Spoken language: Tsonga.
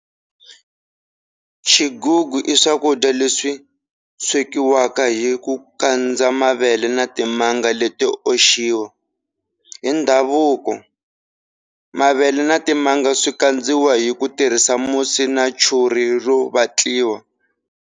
Xigugu iswakudya leswi swekiwaka hiku kandza mavele na timanga leto oxiwa. Hindhavuko, mavela na timanga swi kadziwa hi ku tirhisa musi na churhi ro vatliwa.